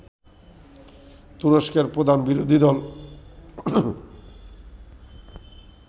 তুরস্কের প্রধান বিরোধী দল